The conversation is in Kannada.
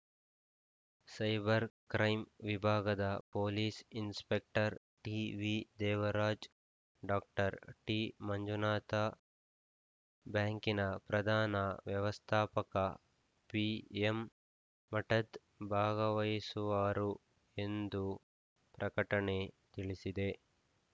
ಸೈಬರ್‌ ಕ್ರೈಮ್‌ ವಿಭಾಗದ police inspector ಟಿವಿದೇವರಾಜ್ doctor T Manjunatha ಬ್ಯಾಂಕಿನ ಪ್ರಧಾನ ವ್ಯವಸ್ಥಾಪಕ ಪಿಎಂ ಮಠದ್‌ ಭಾಗವಹಿಸುವರು ಎಂದು ಪ್ರಕಟಣೆ ತಿಳಿಸಿದೆ